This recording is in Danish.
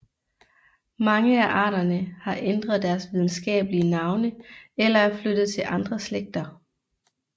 Mange af arterne har ændret deres videnskabelige navne eller er flyttet til andre slægter